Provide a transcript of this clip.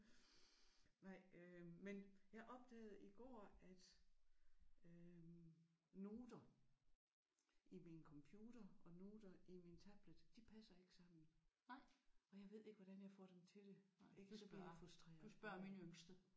Nej øh men jeg opdagede i går at øh noter i min computer og noter i min tablet de passer ikke sammen og jeg ved ikke hvordan jeg får dem til det. Og så bliver jeg frustreret